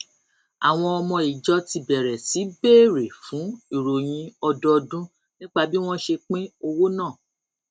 àwọn ọmọ ìjọ ti bẹrẹ sí béèrè fún ìròyìn ọdọọdún nípa bí wón ṣe pín owó náà